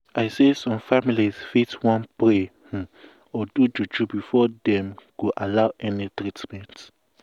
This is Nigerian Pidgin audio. i say some family fit wan pray um or do juju before dem um go allow any treatment.